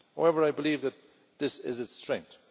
However, I believe that this is its strength.